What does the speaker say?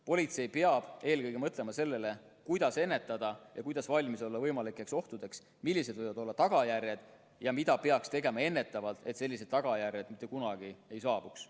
Politsei peab eelkõige mõtlema sellele, kuidas ennetada ja kuidas valmis olla võimalikeks ohtudeks, millised võivad olla tagajärjed ja mida peaks tegema ennetavalt, et sellised tagajärjed mitte kunagi ei saabuks.